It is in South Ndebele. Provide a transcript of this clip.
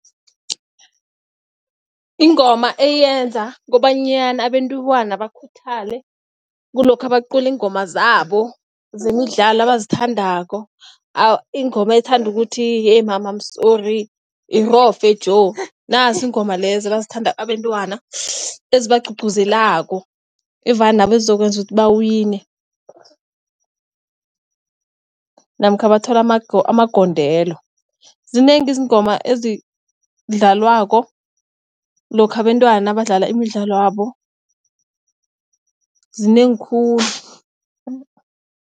Ingoma eyenza kobanyana abentwana bakhuthale kulokha bacula iingoma zabo zemidlalo abazithandako. Ingoma ethanda ukuthi, eeh mama, I am sorry, irofe Joe. Nasi iingoma lezi ebazithanda abentwana, ezibagcugcuzelako evane nabo ezizokwenza ukuthi bawine namkha bathola amagondelo. Zinengi izingoma ezidlalwako lokha abentwana nabadlala imidlalo yabo, zinengi khulu.